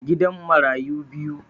Gidan marayu biyu